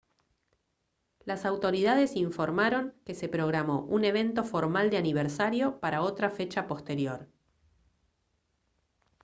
las autoridades informaron que se programó un evento formal de aniversario para otra fecha posterior